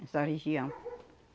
Nessa região.